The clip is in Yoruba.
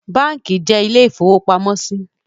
Báànkì jẹ́ ilé ìfowópamọ́sí